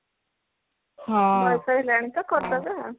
ବୟସ ହେଲାଣି ତ କରିଦେବା